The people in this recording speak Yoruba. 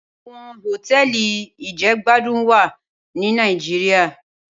Awòn hótèli ijègbádún wá ni Nàijiriá